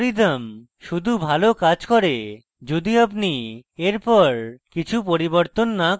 algorithm শুধু ভাল কাজ করে the আপনি এর পর কিছু পরিবর্তন the করেন